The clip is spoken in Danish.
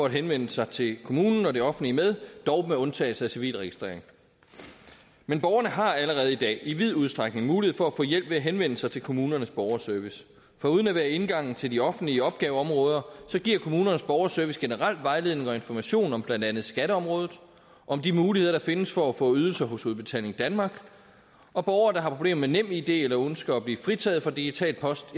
at henvende sig til kommunen og det offentlige med dog med undtagelse af civilregistrering men borgerne har allerede i dag i vid udstrækning mulighed for at få hjælp ved at henvende sig til kommunernes borgerservice foruden at være indgangen til de offentlige opgaveområder giver kommunernes borgerservice generel vejledning og information om blandt andet skatteområdet og om de muligheder der findes for at få ydelser hos udbetaling danmark og borgere der har problemer med nemid eller ønsker at blive fritaget for digital post